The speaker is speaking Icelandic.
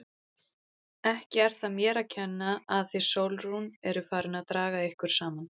Ekki er það mér að kenna að þið Sólrún eruð farin að draga ykkur saman!